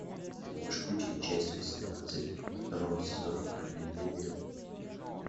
ты можешь включить часть восемнадцать второго сезона параллельные миры